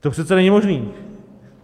To přece není možné!